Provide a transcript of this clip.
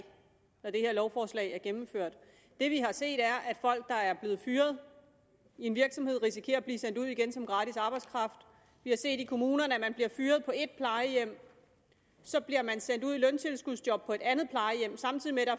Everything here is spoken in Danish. når det her lovforslag er gennemført det vi har set er at folk der er blevet fyret i en virksomhed risikerer at blive sendt ud igen som gratis arbejdskraft vi har set i kommunerne at man bliver fyret på et plejehjem og så bliver man sendt ud i løntilskudsjob på et andet plejehjem samtidig med at